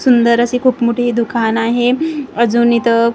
सुंदर अशी खूप मोठी दुकान आहे अजून इथं खूप प्रकारची--